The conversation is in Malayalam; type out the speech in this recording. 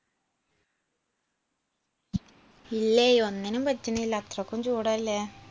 ഇല്ലേയ് ഒന്നിനും പറ്റുന്നില്ല അത്രയ്ക്കും ചൂടല്ലേ.